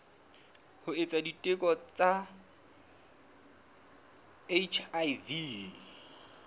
ho etsa diteko tsa hiv